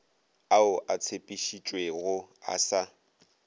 ao a tshepišitšwego a sa